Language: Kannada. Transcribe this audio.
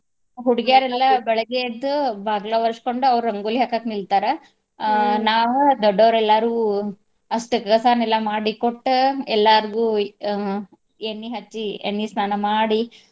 ಹುಡ್ಗ್ಯಾರೆಲ್ಲ ಬೆಳಿಗ್ಗೆ ಎದ್ದು ಬಗ್ಲಾ ವರಸ್ಕೋಂಡು ಅವ್ರ ರಂಗೋಲಿ ಹಾಕಾಕ ನಿಲ್ತಾರಾ ನಾವು ದೊಡ್ಡೊರ್ ಎಲ್ಲರೂ ಅಸ್ಟ್ ಕಸಾನೆಲ್ಲ ಮಾಡಿ ಕೊಟ್ಟ ಎಲ್ಲಾರ್ಗೂ ಅಹ್ ಎಣ್ಣಿ ಹಚ್ಚಿ ಎಣ್ಣಿ ಸ್ನಾನ ಮಾಡಿ.